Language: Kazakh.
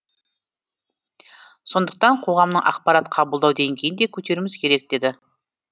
сондықтан қоғамның ақпарат қабылдау деңгейін де көтеруіміз керек деді